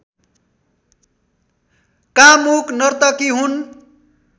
कामुक नर्तकी हुन्